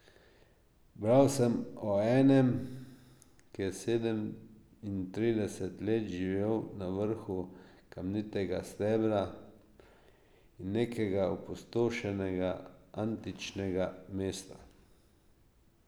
Bral sem o enem, ki je sedemintrideset let živel na vrhu kamnitega stebra nekega opustošenega antičnega mesta.